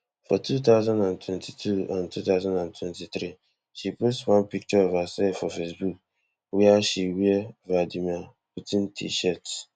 for two thousand and twenty-two and two thousand and twenty-three she post one picture of herself for facebook wia she wear vladimir putin tshirt